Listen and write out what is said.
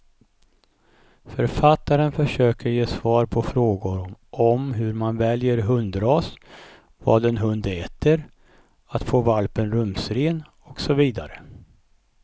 Författaren försöker ge svar på frågor om hur man väljer hundras, vad en hund äter, att få valpen rumsren och så vidare.